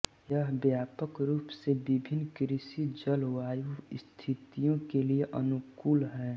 यह व्यापक रूप से विभिन्न कृषि जलवायु स्थितियों के लिए अनुकूल है